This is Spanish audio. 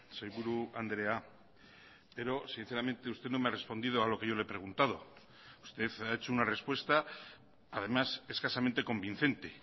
sailburu andrea pero sinceramente usted no me ha respondido a lo que yo le he preguntado usted ha hecho una respuesta además escasamente convincente